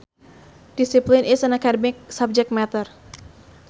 Discipline is an academic subject matter